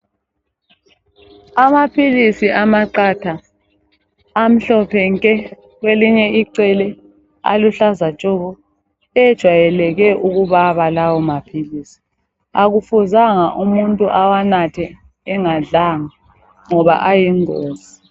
Amaphilisi amaqatha amhlophe nke kwelinye icele aluhlaza tshoko ejayeleke ukubaba lawo maphilisi akufuzanga umuntu awanathe engadlanga ngoba ayingozi